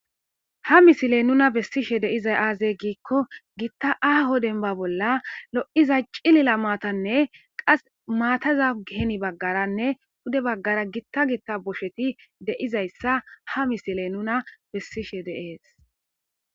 Ha misiley nuna bessishe deizay aazey giikko gitta aaho denba bolla lo'iza cilila maatanne qas maataza geni baggaranne hude baggara gitta gitta bosheti deizayssa ha misiley nuna bessishe deees.